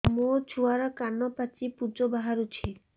ମୋ ଛୁଆର କାନ ପାଚି ପୁଜ ବାହାରୁଛି